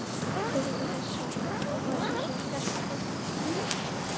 Tilgangur þessa ákvæðis er sá að skerpa stofnendaábyrgðina.